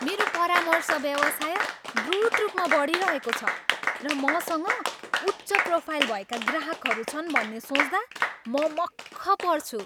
मेरो परामर्श व्यवसाय द्रुत रूपमा बढिरहेको छ र मसँग उच्च प्रोफाइल भएका ग्राहकहरू छन् भन्ने सोच्दा म मक्ख पर्छु।